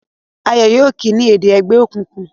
Ayo yóò kí o ni èdè ègbé òkùnkùn